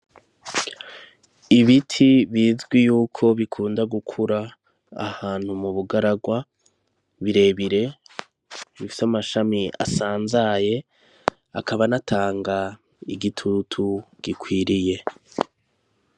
Ibiti bizwi yuko bikunda gukura ahantu mu bugaragwa birebire bifise amashami asanzaye akaba anatanga igitutu gikwiriye.